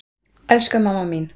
Elsku mamma mín.